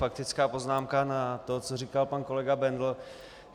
Faktická poznámka na to, co říkal pan kolega Bendl.